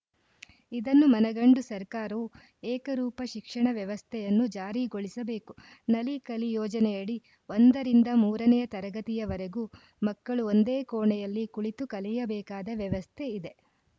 ಇದನ್ನು ಮನಗಂಡು ಸರಕಾರವು ಏಕರೂಪ ಶಿಕ್ಷಣ ವ್ಯವಸ್ಥೆಯನ್ನು ಜಾರಿಗೊಳಿಸಬೇಕು ನಲಿ ಕಲಿ ಯೋಜನೆಯಡಿ ಒಂದರಿಂದ ಮೂರನೆಯ ತರಗತಿಯವರೆಗೂ ಮಕ್ಕಳು ಒಂದೇ ಕೋಣೆಯಲ್ಲಿ ಕುಳಿತು ಕಲಿಯಬೇಕಾದ ವ್ಯವಸ್ಥೆ ಇದೆ